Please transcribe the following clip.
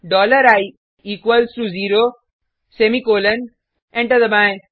dollar I equals to zero semicolon enter दबाएँ